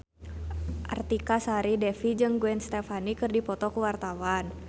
Artika Sari Devi jeung Gwen Stefani keur dipoto ku wartawan